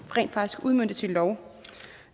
rent faktisk udmøntes i lov